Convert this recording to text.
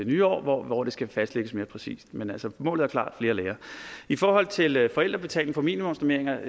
nye år hvor hvor det skal fastlægges mere præcist men altså målet er klart flere lærere i forhold til forældrebetaling for minimumsnormeringer